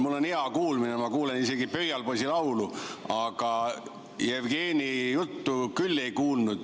Mul on muidu hea kuulmine, ma kuulen isegi pöialpoisi laulu, aga Jevgeni juttu küll ei kuulnud.